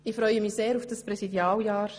Ich freue mich sehr auf dieses Präsidialjahr.